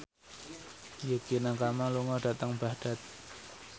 Yukie Nakama lunga dhateng Baghdad